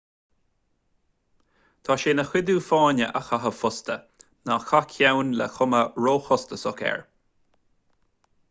tá sé ina chuidiú fáinne a chaitheamh fosta ná caith ceann le cuma róchostasach air